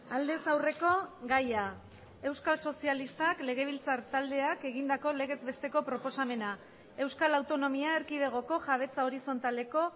aldez aurreko gaia euskal sozialistak legebiltzar taldeak egindako legez besteko proposamena euskal autonomia erkidegoko jabetza horizontaleko